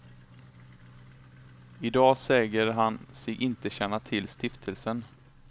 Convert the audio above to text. Idag säger han sig inte känna till stiftelsen.